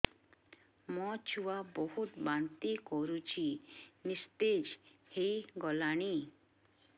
ମୋ ଛୁଆ ବହୁତ୍ ବାନ୍ତି କରୁଛି ନିସ୍ତେଜ ହେଇ ଗଲାନି